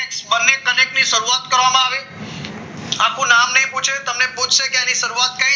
બંને connect ની શરૂઆત કરવામાં આવી આખું નામ નહીં પૂછે એની શરૂઆત ક્યારે કરવામાં આવી